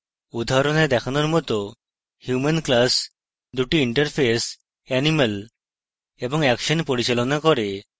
উদাহরণে দেখানোর মত human class দুটি interfaces animal এবং action পরিচালনা করে